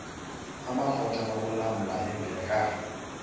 amakrot anokulamla ingeka